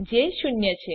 જે ૦ છે